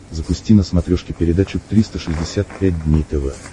запусти на смотрешке передачу триста шестьдесят пять дней тв